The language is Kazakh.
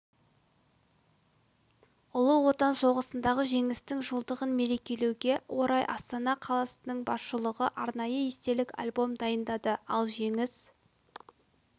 ұлы отан соғысындағы жеңістің жылдығын мерекелеуге орай астана қаласының басшылығы арнайы естелік альбом дайындады ал жеңіс